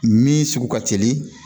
Min sugu ka teli